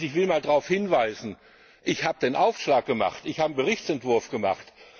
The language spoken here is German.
Ich will darauf hinweisen, ich habe den Aufschlag gemacht, ich habe den Berichtsentwurf gemacht.